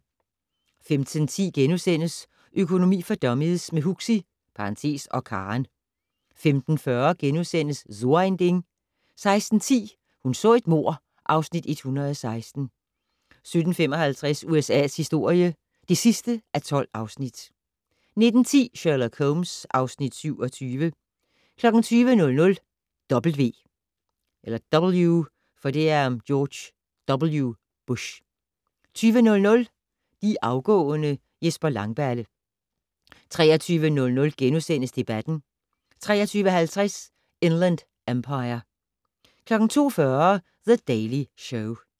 15:10: Økonomi for dummies - med Huxi (og Karen) * 15:40: So ein Ding * 16:10: Hun så et mord (Afs. 116) 17:55: USA's historie (12:12) 19:10: Sherlock Holmes (Afs. 27) 20:00: W. 22:00: De afgående: Jesper Langballe 23:00: Debatten * 23:50: Inland Empire 02:40: The Daily Show